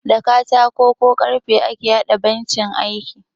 Da katako ko karfe ake haɗa bencin aiki